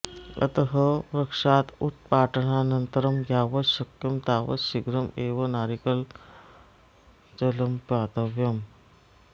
अतः वृक्षात् उत्पाटनानन्तरं यावत् शक्यं तावत् शीघ्रम् एव नारिकेलजलं पातव्यम्